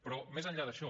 però més enllà d’això